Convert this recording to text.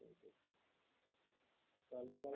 তাহলে পরে